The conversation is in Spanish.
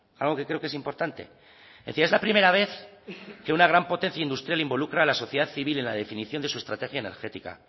algo que creo que es importante decía es la primera vez que una gran potencia industrial involucra a la sociedad civil en la definición de su estrategia energética